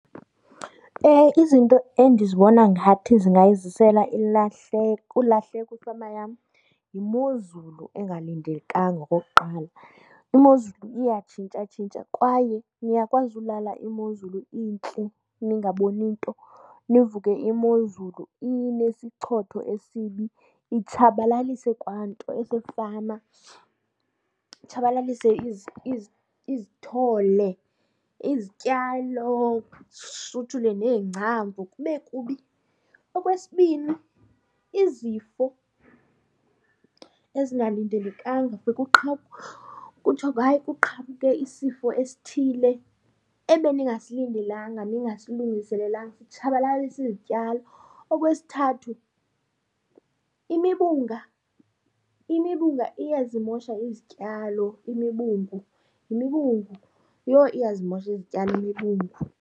Izinto endizibona ngathi zingayizisela ilahleko ulahleko ifama yam yimozulu engalindelekanga okokuqala. Imozulu iyatshintshatshintsha kwaye niyakwazi ulala imozulu intle ningaboni nto nivuke imozulu inesichotho esibi, itshabalalise kwanto esefama. Itshabalalise izithole izityalo ishuthule neengcambu kube kubi. Okwesibini izifo ezingalindelekanga , kuthiwe hayi kuqhamuke isifo esithile ebeningasilindelanga, ningasilungiselelanga sitshabalalise izityalo. Okwesithathu imibunga, imibunga iyazimosha izityalo, imibungu. Yimibungu. Yho, iyazimosha izityalo imibungu.